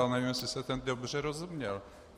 Já nevím, jestli jsem teď dobře rozuměl.